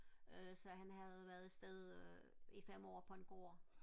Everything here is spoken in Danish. øh så han havde været afsted øh i fem år på en gård